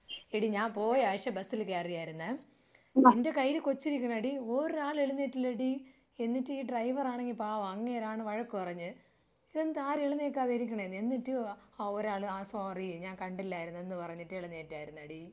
എടീ ഞാൻ പോയ ആഴ്ച ബസ്സിൽ കയറിയായിരുന്നേ. എന്റെ കയ്യിൽ കൊച്ച് ഇരിക്കിണടി ഒരാൾ എഴുന്നേറ്റില്ലെടി. എന്നിട്ട് ഈ ഡ്രൈവർ ആണെങ്കി പാവം അങ്ങേരാണ് വഴക്ക് പറഞ്ഞത്. ഇതെന്താ ആരും എഴുന്നേൽക്കാതെ ഇരിക്കിണെന്ന്. എന്നിട്ട് ആ ഒരാൾ ആ സോറി ഞാൻ കണ്ടില്ലായിരുന്ന് എന്ന് പറഞ്ഞിട്ട് എഴുന്നേറ്റായിരുന്നെടീ.